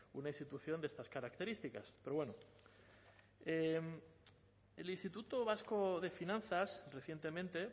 una institución de estas características pero bueno el instituto vasco de finanzas recientemente